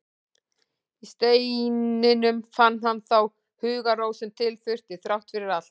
Í steininum fann hann þá hugarró sem til þurfti, þrátt fyrir allt.